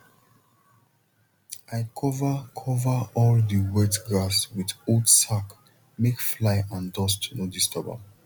i cover cover all the wet grass with old sack make fly and dust no disturb am